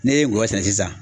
N'e ye ngɔyɔ sɛnɛ sisan